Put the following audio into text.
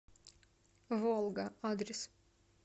волга адрес